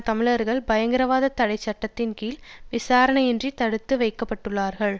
தமிழர்கள் பயங்கரவாதத் தடை சட்டத்தின் கீழ் விசாரணையின்றி தடுத்து வைக்க பட்டுள்ளார்கள்